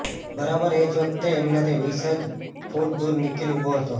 બરાબર એ જ વખતે એમનાથી વીસ જ ફૂટ દૂર નિખિલ ઊભો હતો